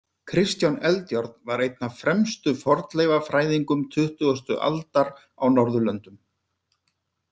Kristján Eldjárn var einn af fremstu fornleifafræðingum tuttugasta aldar á Norðurlöndum.